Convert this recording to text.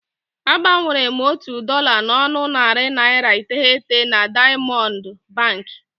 A gbanwere m otu dọla n'ọnụ narị naịra iteghete na Daịamọndụ Bankị.